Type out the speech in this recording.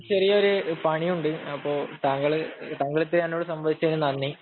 എനിക്ക് ചെറിയ ഒരു പണിയുണ്ട്. അപ്പൊ താങ്കള് എന്നോട് സംവദിച്ചതിനോട് നന്ദി.